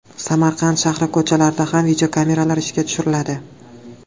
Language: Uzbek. Samarqand shahri ko‘chalarida ham videokameralar ishga tushiriladi.